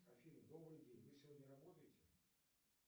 афина добрый день вы сегодня работаете